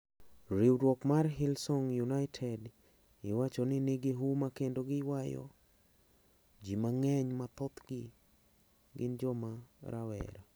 Riwruok mar Hillsong United iwacho ni nigi huma kendo giywayo ji mang`eny ma thothgi gin joma rawera.